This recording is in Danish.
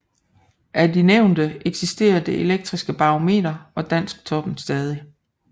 Af de nævnte eksisterer Det elektriske Barometer og Dansktoppen stadig